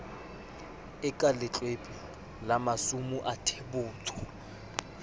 e ka letlwepe la masumuathebotsho